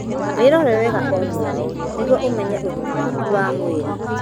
Wĩrore wega o mweri nĩguo ũmenye ũgima waku wa mwĩrĩ.